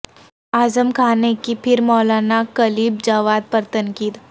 اعظم خاں نے کی پھر مولاناکلب جواد پر تنقید